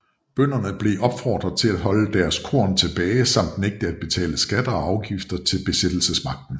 Bønderne blev opfordret til at holde deres korn tilbage samt nægte at betale skatter og afgifter til besættelsesmagten